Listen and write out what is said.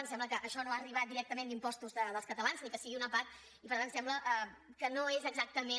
ens sembla que això no ha arribat directament d’impostos dels catalans ni que sigui una part i per tant sembla que no és exactament